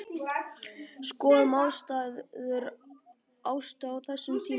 Skoðum aðstæður Ástu á þessum tíma.